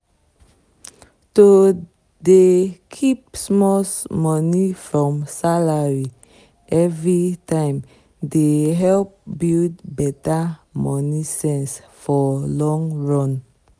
to dey keep small money from salary every time dey help build better money sense for long run.